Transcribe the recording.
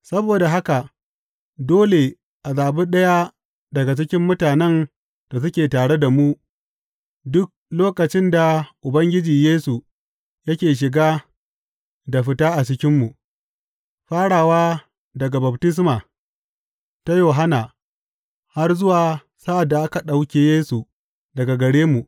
Saboda haka dole a zaɓi ɗaya daga cikin mutanen da suke tare da mu duk lokacin da Ubangiji Yesu yake shiga da fita a cikinmu, farawa daga baftisma ta Yohanna har zuwa sa’ad da aka ɗauke Yesu daga gare mu.